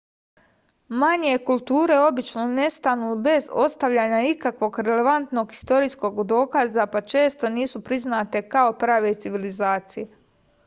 manje kulture obično nestanu bez ostavljanja ikakvog relevantnog istorijskog dokaza pa često nisu priznate kao prave civilizacije